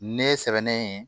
Ne sɛbɛnnen